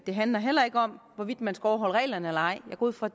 det handler heller ikke om hvorvidt man skal overholde reglerne eller ej jeg går ud fra